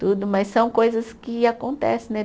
Tudo, mas são coisas que acontecem, né?